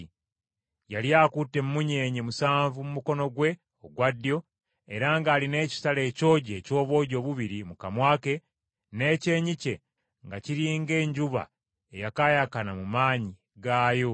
Yali akutte emmunyeenye musanvu mu mukono gwe ogwa ddyo era ng’alina ekitala ekyogi eky’obwogi obubiri mu kamwa ke; n’ekyenyi kye nga kiri ng’enjuba eyakaayakana mu maanyi gaayo.